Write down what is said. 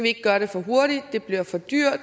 ikke gøre det for hurtigt det bliver for dyrt